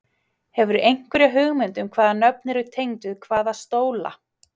Hefurðu einhverja hugmynd um hvaða nöfn eru tengd við hvaða stóla?